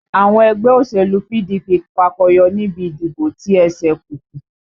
Àwọn ẹgbẹ́ òṣèlú PDP fakọyọ nibi ìdìbò ti ẹ̀sẹ̀kùkú